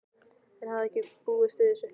Hann hafði ekki búist við þessu.